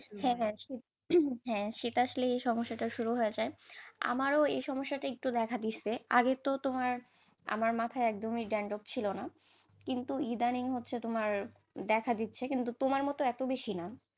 হ্যাঁ হ্যাঁ ঠিক হ্যাঁ শীত আসলেই সমস্যাটাশুরু হয়ে যায়, আমারো এই সমস্যাটা দেখা দেইছি, আগে তো তোমার আমার মাথায় একদমই dandruff ছিল না, কিন্তু ইদানিং হচ্ছে তোমার দেখা দিচ্ছে কিন্তু তোমার মত এত বেশি না,